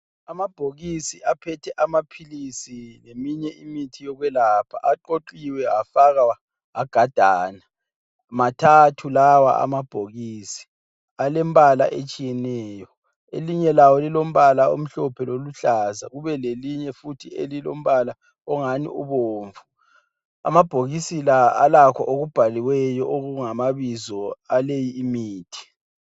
Amabhokisi aphethe amaphilisi, leminye imithi yokwelapha aqoqiwe afakwa agadana mathathu lawa amabhokisi, alembala etshiyeneyo, elinye lawo lilombala omhlophe loluhlaza, kube lelinye futhi elilombala ongani ubomvu. Amabhokisi la alakho okubhaliweyo okungamabizo aleyi imithi.